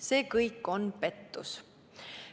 See kõik on pettus.